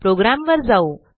प्रोग्रॅमवर जाऊ